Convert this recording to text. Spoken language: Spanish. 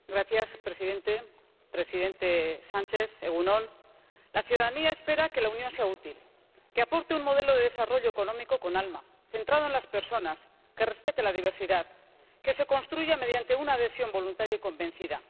Señor presidente, presidente Sánchez. La ciudadanía espera que la Unión sea útil, que aporte un modelo de desarrollo económico con alma, centrado en las personas, que respete la diversidad, que se construya mediante una adhesión voluntaria y convencida.